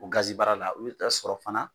O gazibara la u bɛ t'a sɔrɔ fana